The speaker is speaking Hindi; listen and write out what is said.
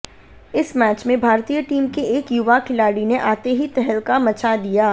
इस मैच में भारतीय टीम के एक युवा खिलाड़ी ने आते ही तहलका मचा दिया